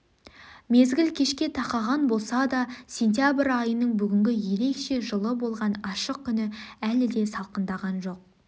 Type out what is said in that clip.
мезгіл кешке тақаған болса да сентябрь айының бүгін ерекше жылы болған ашық күні әлі де салқындаған жоқ